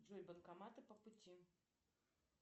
джой банкоматы по пути